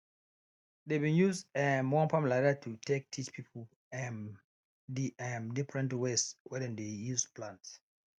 dey bin use um one farm like dat to take teach pipo um d um different ways wey dem dey use plant